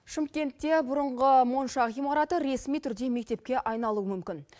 шымкентте бұрынғы монша ғимараты ресми түрде мектепке айналуы мүмкін